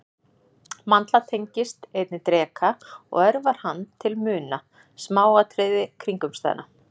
Mandla tengist einnig dreka og örvar hann til að muna smáatriði kringumstæðna.